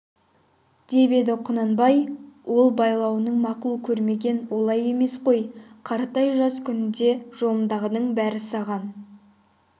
деп еді құнанбай ол байлауын мақұл көрмеген олай емес қой қаратай жас күніңде жолыңдағының бәрі саған